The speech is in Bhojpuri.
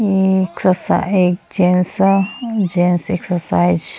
ए एक जेंस ह जेंस एक्सरसाइज --